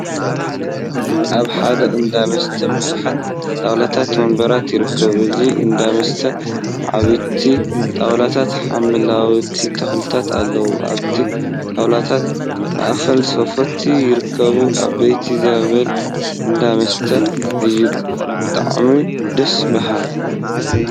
ኣብ ሓደ እንዳ መስተ ቡዙሓት ጣውላታትን ወንበራትን ይርከቡ። እዚ እንዳ መስተ ዓበይቲ ጣውላታትን ሓምለዎት ተክሊታትን ኣለው። ኣብቲ ጣውላታት ማእከል ሶፍት ይርከብ። ኣብየት ዘብል እንዳ መስተ እዩ። ብጣዕሞ ደስ በሃ።